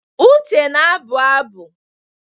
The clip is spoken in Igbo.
Uche na-abụ abụ.